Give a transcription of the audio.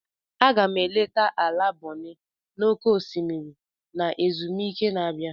Aga m eleta ala Bonny n'oké osimiri na ezumike na-abịa.